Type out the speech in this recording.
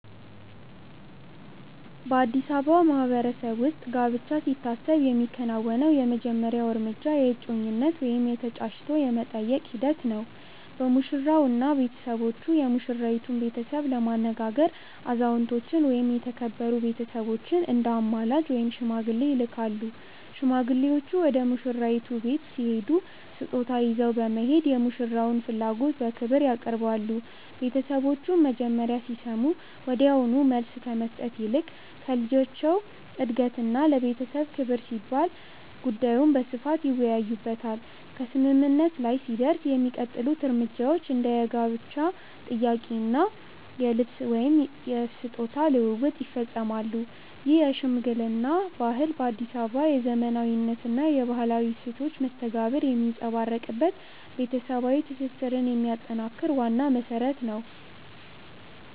በአዲስ አበባ ማህበረሰብ ውስጥ ጋብቻ ሲታሰብ የሚከናወነው የመጀመሪያው እርምጃ የእጮኝነት ወይም የ"ተጫጭቶ የመጠየቅ" ሂደት ነው። ሙሽራውና ቤተሰቦቹ የሙሽራይቱን ቤተሰብ ለማነጋገር አዛውንቶችን ወይም የተከበሩ ቤተሰቦችን እንደ አማላጅ (ሽማግሌ) ይልካሉ። ሽማግሌዎቹ ወደ ሙሽራይቱ ቤት ሲሄዱ ስጦታ ይዘው በመሄድ የሙሽራውን ፍላጎት በክብር ያቀርባሉ። ቤተሰቦቹም መጀመሪያ ሲሰሙ ወዲያውኑ መልስ ከመስጠት ይልቅ ለልጃቸው እድገትና ለቤተሰብ ክብር ሲባል ጉዳዩን በስፋት ይወያዩበታል። ከስምምነት ላይ ሲደረስ የሚቀጥሉት እርምጃዎች እንደ የጋብቻ ጥያቄ እና የልብስ/ስጦታ ልውውጥ ይፈጸማሉ። ይህ የሽምግልና ባህል በአዲስ አበባ የዘመናዊነትና የባህላዊ እሴቶች መስተጋብር የሚንጸባረቅበት፣ ቤተሰባዊ ትስስርን የሚያጠናክር ዋና መሰረት ነው።